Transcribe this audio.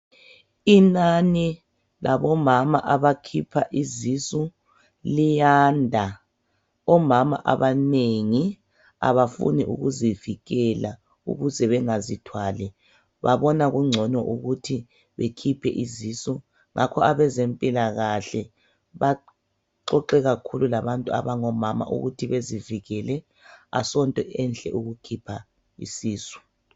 Inani labomama abakhipha izisu liyanda .Omama abanengi abafuni ukuzivikela ukuze bengazithwali babona kungcono ukuthi bekhiphe izisu ngakho abezempilakahle baxoxe kakhulu labantu abangomama ukuthi bezivikele asonto enhle ukukhipha isisu .